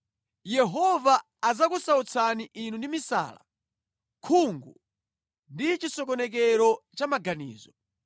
Yehova adzakusautsani inu ndi misala, khungu ndi chisokonekero cha maganizo.